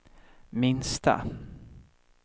minsta